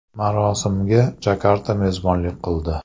Marosimga Jakarta mezbonlik qildi.